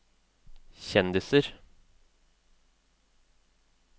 kjendiser